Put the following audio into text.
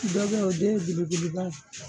Dɔ be ye o den ye belebeleba ye